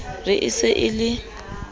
re e se e le